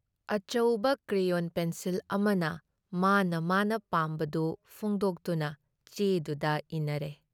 ꯑꯆꯧꯕ crayon pencil ꯑꯃꯅ ꯃꯥꯅ ꯃꯥꯅ ꯄꯥꯝꯕꯗꯨ ꯐꯣꯡꯗꯣꯛꯇꯨꯅ ꯆꯦꯗꯨꯗ ꯏꯅꯔꯦ ꯫